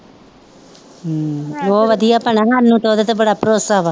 ਹਮ ਬਹੁ ਵਧੀਆ ਭੈਣਾ ਸਾਨੂੰ ਤੇ ਉਹਦੇ ਤੇ ਬੜਾ ਭਰੋਸਾ ਵਾ